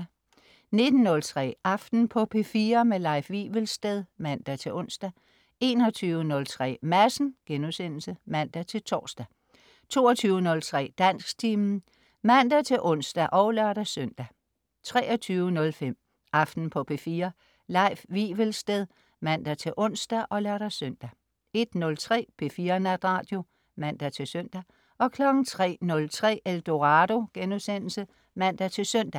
19.03 Aften på P4. Leif Wivelsted (man-ons) 21.03 Madsen* (man-tors) 22.03 Dansktimen (man-ons og lør-søn) 23.05 Aften på P4. Leif Wivelsted (man-ons og lør-søn) 01.03 P4 Natradio (man-søn) 03.03 Eldorado* (man-søn)